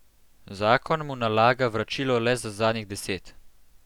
Zakon mu nalaga vračilo le za zadnjih deset.